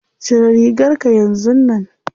Cire rigarka yanzun nan.